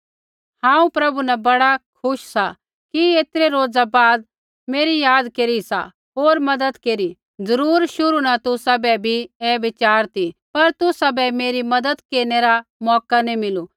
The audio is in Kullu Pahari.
हांऊँ प्रभु न बड़ा खुश सा कि ऐतरै रोज़ा बाद मेरी याद केरी सा होर मज़त केरी जरुर शुरू न तुसाबै बी भी ऐ विचार ती पर तुसाबै मेरी मज़त केरनै रा मौका नैंई मिलु